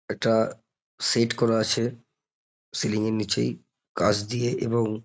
একটা সেট করা আছে সিলিং -এর নিচেই কাচ দিয়ে এবং--